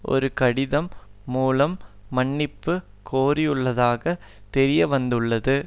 ஒரு கடிதம் மூலம் மன்னிப்பு கோரியுள்ளதாக தெரியவந்துள்ளது